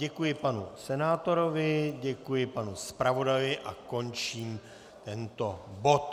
Děkuji panu senátorovi, děkuji panu zpravodaji a končím tento bod.